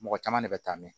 Mɔgɔ caman de bɛ taa mɛn